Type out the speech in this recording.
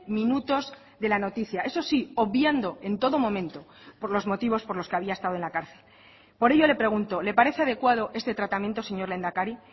minutos de la noticia eso sí obviando en todo momento por los motivos por los que había estado en la cárcel por ello le pregunto le parece adecuado este tratamiento señor lehendakari